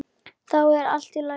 Þá er allt í lagi.